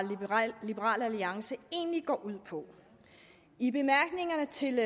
liberal alliance egentlig går ud på i bemærkningerne til